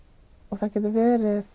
það getur verið